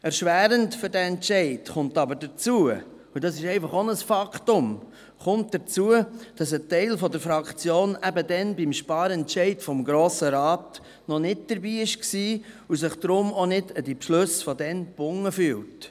Erschwerend für diesen Entscheid kommt aber hinzu – und das ist einfach auch ein Faktum –, dass ein Teil der Fraktion beim Sparentscheid noch nicht im Grossen Rat war und sich deshalb auch nicht an die damaligen Beschlüsse gebunden fühlt.